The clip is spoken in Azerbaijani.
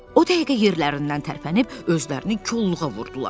O dəqiqə yerlərindən tərpənib özlərini kolluğa vurdular.